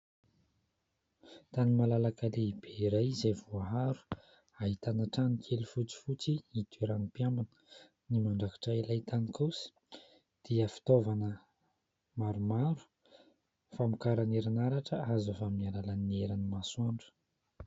Tany malalaka lehibe iray izay voaharo ,ahitana trano kely fotsifotsy hitoeran'ny mpiambina ;ny mandrakotra ilay tany kosa dia fitaovana maromaro ,famokarana erin'aratra azo avy amin'ny alalan'ny herin'ny masoandro.